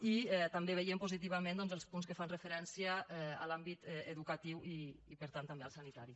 i també veiem positivament doncs els punts que fan referència a l’àmbit educatiu i per tant també al sanitari